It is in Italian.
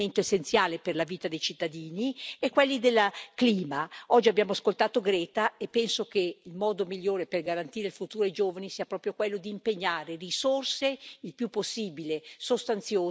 Oggi abbiamo ascoltato Greta e penso che il modo migliore per garantire il futuro ai giovani sia proprio quello di impegnare risorse il più possibile sostanziose per affrontare il cambiamento climatico e le nuove sfide che questo ci pone.